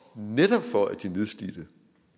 netop for at de nedslidte